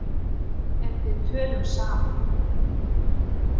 En við tölum saman.